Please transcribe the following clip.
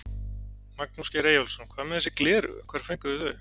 Magnús Geir Eyjólfsson: Hvað með þessi gleraugu, hvar fenguð þið þau?